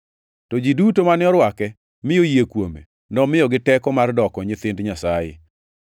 To ji duto mane orwake, mi oyie kuome, nomiyogi teko mar doko nyithind Nyasaye,